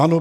Ano.